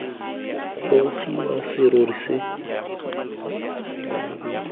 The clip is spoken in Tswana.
gogiwa serori se sengwe se